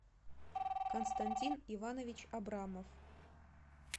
константин иванович абрамов